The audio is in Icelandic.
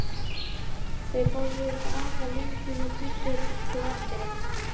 Þau borðuðu aðalréttinn og pöntuðu kaffi og eftirrétt.